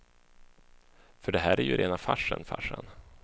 För det här är ju rena farsen, farsan.